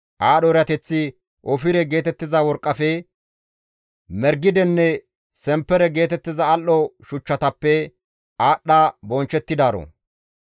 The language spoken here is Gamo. Aadho erateththi ofire geetettiza worqqafe, margidenne semppere geetettiza al7o shuchchatappe aadhdha bonchchettidaaro.